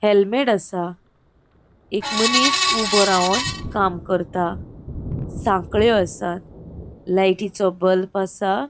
हेल्मेट असा एक मनिस ऊबो रावोन काम करता सांख्ळ्यो आसा लायटीचो बल्ब असा.